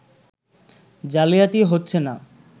জালিয়াতি হচ্ছে না